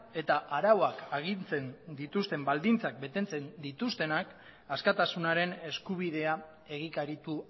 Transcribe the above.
eta arauak agintzen dituzten baldintzak betetzen dituztenak askatasunaren eskubidea egikaritu